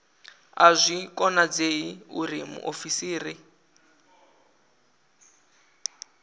a zwi konadzei uri muofisiri